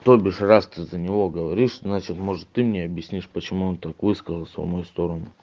то бишь раз ты за него говоришь значит может ты мне объяснишь почему он так высказался в мою сторону